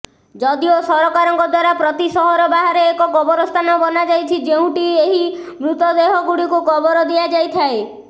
ଯଦିଓ ସରକାରଙ୍କ ଦ୍ବାରା ପ୍ରତି ସହର ବାହାରେ ଏକ କବରସ୍ଥାନ ବନାଯାଇଛି ଯେଉଁଠି ଏହି ମ୍ତଦେହଗୁଡ଼ିକୁ କବର ଦିଆଯାଇଥାଏ